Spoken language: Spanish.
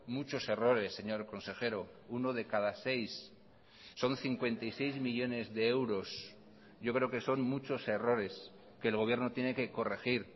muchos errores señor consejero uno de cada seis son cincuenta y seis millónes de euros yo creo que son muchos errores que el gobierno tiene que corregir